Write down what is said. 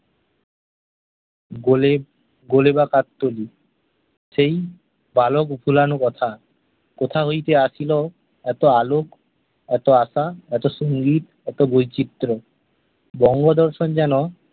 গোলে, সেই বালক ভুলানো কথা কোথা হইতে আসিলো এতো আলোক, এতো আঁকা, এতো সঙ্গীত, এতো বৈচিত্র্য । বঙ্গদর্শন যেন